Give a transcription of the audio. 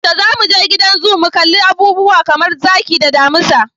Yaushe zamu je gidan zoo mu kalli abubuwa kamar zaki da damisa?